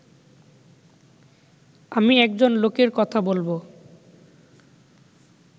আমি একজন লোকের কথা বলব